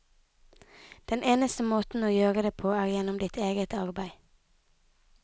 Den eneste måte å gjøre det på er gjennom ditt eget arbeid.